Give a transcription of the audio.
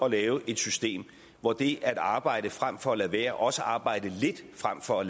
at lave et system hvor det at arbejde frem for at lade være også det at arbejde lidt frem for at